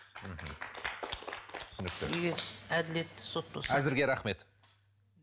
мхм түсінікті егер әділетті сот болса әзірге рахмет